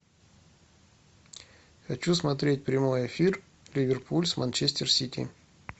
хочу смотреть прямой эфир ливерпуль с манчестер сити